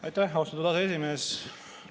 Aitäh, austatud aseesimees!